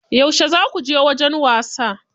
Yauce zaku je wajen wasa?